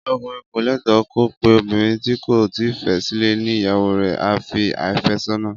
Ọkùnrin ko lẹtọ ko pẹ obinrin ti ko ti fẹ sile ni ìyàwó rẹ a fi àfẹ́sọ́nà